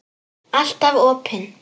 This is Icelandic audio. Alltaf opin.